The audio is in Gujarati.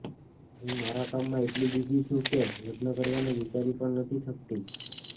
હું મારા કામમાં એટલી બિઝી છું કે લગ્ન કરવાનું વિચારી પણ નથી શકતી